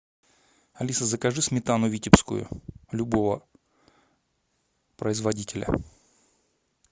алиса закажи сметану витебскую любого производителя